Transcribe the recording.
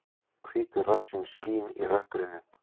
Hvítur rassinn skín í rökkrinu.